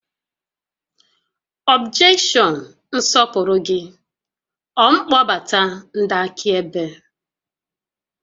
Ọbjekshọn nsọpụrụ gị, ọ mkpọbata ndị akaebe?